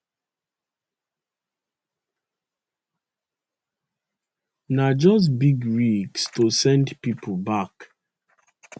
na just big risk to send pipo back